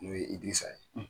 N'o ye Idirisa ye.